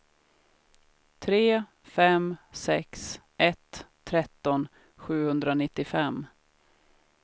tre fem sex ett tretton sjuhundranittiofem